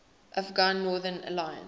afghan northern alliance